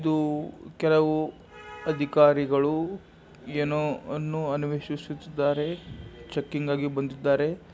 ಇದು ಕೆಲವು ಅಧಿಕಾರಿಗಳು ಏನೋ ಅಧಿಕಾರಿಗಳು ಏನೋ ಅನ್ವೇಷಿಸುತ್ತಿದ್ದಾರೆ ಏನೋ ಅನ್ವೇಷಣೆ ಮಾಡುತ್ತಿದ್ದಾರೆ ಚೆಕಿಂಗ್ ಆಗಿ ಬಂದಿದ್ದಾರೆ.